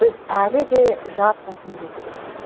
біз әлі де мемлекетпіз